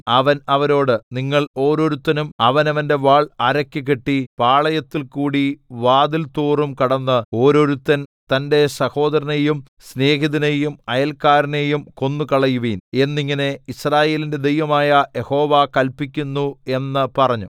അവൻ അവരോട് നിങ്ങൾ ഓരോരുത്തരും അവനവന്റെ വാൾ അരയ്ക്ക് കെട്ടി പാളയത്തിൽകൂടി വാതിൽതോറും കടന്ന് ഓരോരുത്തൻ തന്റെ സഹോദരനെയും സ്നേഹിതനെയും അയല്ക്കാരനെയും കൊന്നുകളയുവിൻ എന്നിങ്ങനെ യിസ്രായേലിന്റെ ദൈവമായ യഹോവ കല്പിക്കുന്നു എന്ന് പറഞ്ഞു